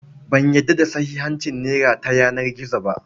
Ban yarda da sahihancin nera ta yanar gizo ba.